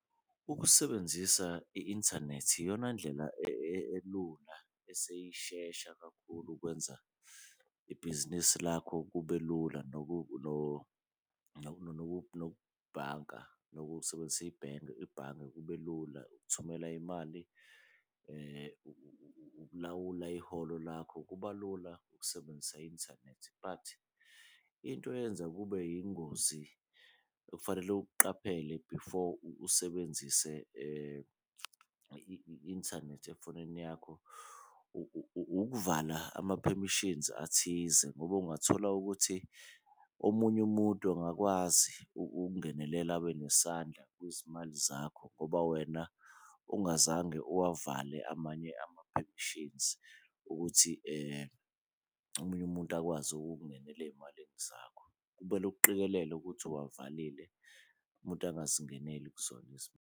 Ukusebenzisa i-inthanethi iyona ndlela elula eseyishesha kakhulu ukwenza ibhizinisi lakho kube lula, nokubhanka nokusebenzisa ibhange kube lula ukuthumela imali, ukulawula iholo lakho kuba lula ukusebenzisa i-inthanethi. But into eyenza kube yingozi okufanele ukuqaphele before usebenzise i-inthanethi efonini yakho ukuvala ama-permissions athize, ngoba ungathola ukuthi omunye umuntu angakwazi ukungenelela abe nesandla kwizimali zakho ngoba wena ungazange uwavale amanye ama-permissions ukuthi omunye umuntu akwazi ukukungenela eyimalini zakho. Kumele ukuqikelele ukuthi uwavalile umuntu angazingeneli kuzona .